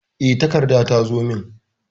E, takarda ta zo min.